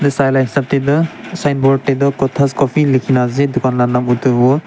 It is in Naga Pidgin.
saa laga esap dae toh signboard dae toh cothas coffee likina asae tokan laa naam etu hubo.